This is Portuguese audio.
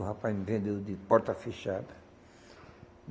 O rapaz me vendeu de porta fechada.